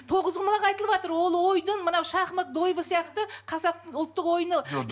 тоғызқұмалақ айтылыватыр ол ойдың мынау шахмат дойбы сияқты қазақтың ұлттық ойыны